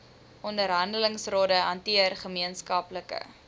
onderhandelingsrade hanteer gemeenskaplike